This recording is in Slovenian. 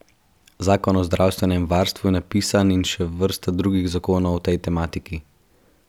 Zakon o zdravstvenem varstvu je napisan in še vrsta drugih zakonov o tej tematiki.